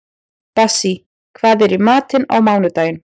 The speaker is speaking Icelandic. Bassí, hvað er í matinn á mánudaginn?